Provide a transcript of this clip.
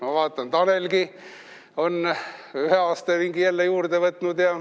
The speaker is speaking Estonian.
Ma vaatan, Tanelgi on ühe aastaringi jälle juurde võtnud.